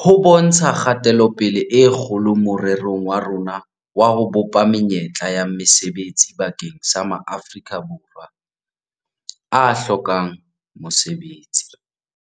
ho bontsha kgatelopele e kgolo morerong wa rona wa ho bopa menyetla ya mesebetsi bakeng sa ma Afrika Borwa a hlokang mosebetsi.